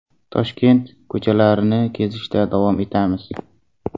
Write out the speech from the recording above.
Toshkent ko‘chalarini kezishda davom etamiz.